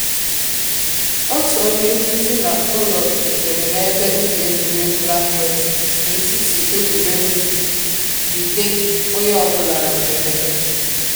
Otu onye ezi na ụlọ rutere na ebe ubi egwuregwu lacrosse na etiti egwuregwu, jide onye ọ bụla na mgberede